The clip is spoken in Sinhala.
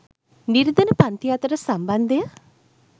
නිර්ධන පංතිය අතර සම්බන්ධය